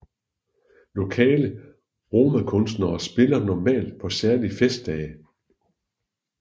Lokale romakunstnere spiller normalt på særlige festdage